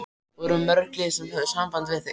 Voru mörg lið sem höfðu samband við þig?